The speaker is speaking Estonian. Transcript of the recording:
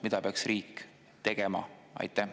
Mida peaks riik tegema?